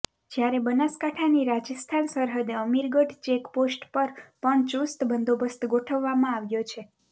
જ્યારે બનાસકાંઠાની રાજસ્થાન સરહદે અમીરગઢ ચેકપોસ્ટ પર પણ ચુસ્ત બંદોબસ્ત ગોઠવવામાં આવ્યો છે